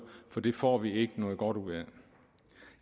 for det får vi ikke noget godt ud af